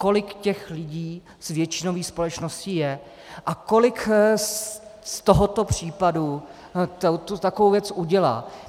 Kolik těch lidí z většinové společnosti je a kolik z tohoto případu takovou věc udělá?